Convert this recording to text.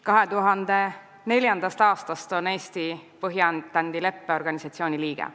2004. aastast on Eesti Põhja-Atlandi Lepingu Organisatsiooni liige.